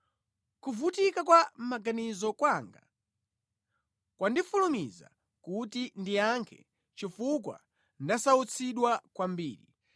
“Kuvutika kwa mʼmaganizo kwanga kwandifulumiza kuti ndiyankhe chifukwa ndasautsidwa kwambiri.